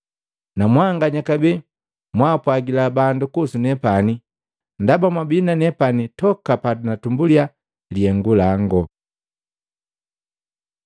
Namwanganya kabee mwapwagila bandu kuhusu nepani, ndaba mwabii na nepani toka panatumbuliya lihengu langu.”